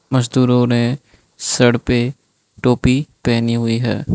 मजदूरों ने सर पे टोपी पहेनी हुई है।